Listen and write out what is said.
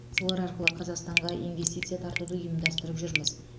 солар арқылы қазақстанға инвестиция тартуды ұйымдастырып жүрміз